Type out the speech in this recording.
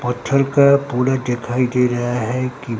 पत्थर का पूरा देखाई दे रहा है कि--